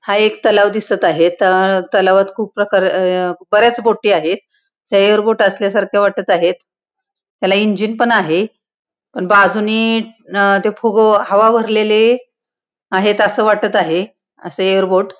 हा एक तलाव दिसत आहे त अ तलावात खुप प्रकार अ बऱ्याच बोटी आहेत त्या एयरबोट असल्या सारख वाटत आहेत त्याला इंजिन पण आहे पण बाजूने अ ते फुग हवा भरलेले आहेत अस वाटत आहे असे एयरबोट --